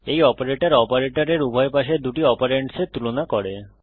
এই অপারেটর অপারেটরের উভয় পাশের দুটি অপারেন্ডসের তুলনা করে